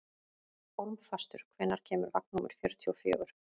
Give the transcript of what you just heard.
Hólmfastur, hvenær kemur vagn númer fjörutíu og fjögur?